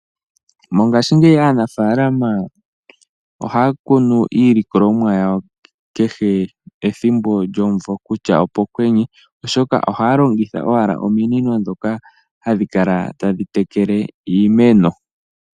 Mongashingeyi aanafalama ohaya kunu iilikolomwa yawo kehe ethimbo lyomumvo kutya opo kwenye, oshoka ohaya longitha owala ominino dhoka hadhi kala tadhi tekele iimeno.